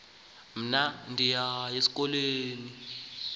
mna ndiyaya esikolweni